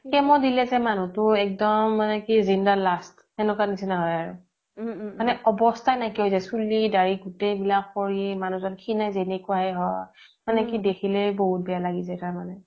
chemo দিলে যে মানুহতো এক্দম মানে কি জিন্দা লাশ সেনেকুৱাৰ নিচিনা হয় আৰু মানে অবস্থা নাইকিয়া হয় যাই চুলি দাৰি গুতেই বিলাক খৰি মানুহজ্ন খিনাই জেনেকুৱা হে হয় মানে কি দেখিলেই বহুত বেয়া লাগি যাই তাৰ মানে